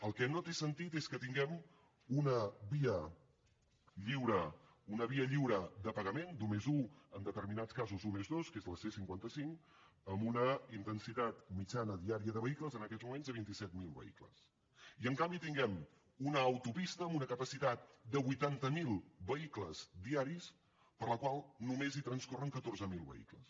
el que no té sentit és que tinguem una via lliure una via lliure de pagament d’un+un en determinats casos d’un+dos que és la c cinquanta cinc amb una intensitat mitjana diària de vehicles en aquests moments de vint set mil vehicles i en canvi tinguem una autopista amb una capacitat de vuitanta miler vehicles diaris per la qual només hi transcorren catorze mil vehicles